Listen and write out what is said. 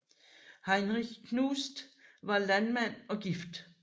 Heinrich Knust var landmand og gift